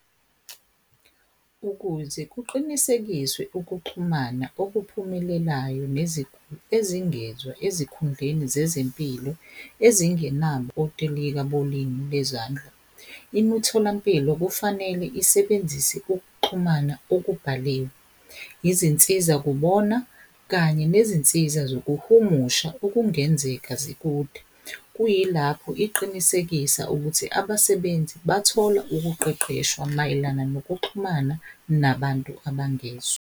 Ukuze kuqinisekiswe ukuxhumana okuphumelelayo neziguli ezingezwa ezikhundleni zezempilo ezingenabo otilika bolimi bezandla. Imitholampilo kufanele isebenzise ukuxhumana okubhaliwe, izinsiza kubona, kanye nezinsiza zokuhumusha okungenzeka zikude. Kuyilapho iqinisekisa ukuthi abasebenzi bathola ukuqeqeshwa mayelana nokuxhumana nabantu abangezwa.